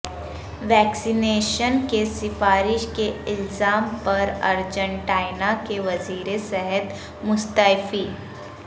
ویکسی nation کی سفارش کے الزام پر ارجنٹائنا کے وزیر صحت مستعفی